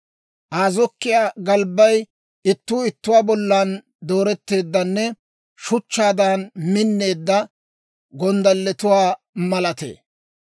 Aa zokkiyaa galbbay ittuu ittuwaa bollan dooretteeddanne shuchchaadan minneedda gonddalletuwaa malatee.